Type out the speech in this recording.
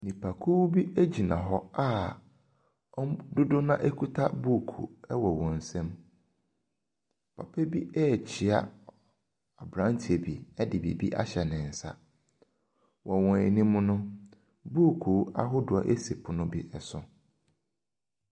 Nnipakuo bi gyina hɔ a wɔn dodoɔ no ara kuta buuku wɔ wɔn nsam. Papa bi rekyea aberanteɛ bi de biribi ahyɛ ne nsa. Wɔ wɔn anim no, buuku ahodoɔ si pono bi so.